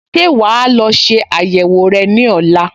Ṣé wà á lọ ṣe àyẹ̀wò rẹ ní ọ̀la?